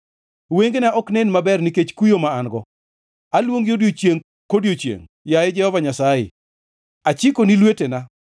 wengena ok nen maber nikech kuyo ma an-go. Aluongi odiechiengʼ kodiechiengʼ, yaye Jehova Nyasaye; achikoni lwetena.